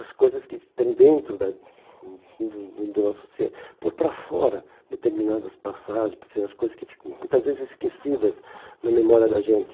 As coisas que estão dentro da do do do nosso ser, pôr para fora, determinadas passagens, as coisas que ficam muitas vezes esquecidas na memória da gente.